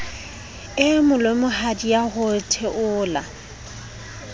e molemohadi ya ho theola